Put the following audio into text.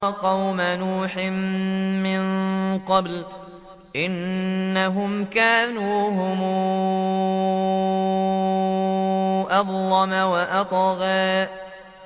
وَقَوْمَ نُوحٍ مِّن قَبْلُ ۖ إِنَّهُمْ كَانُوا هُمْ أَظْلَمَ وَأَطْغَىٰ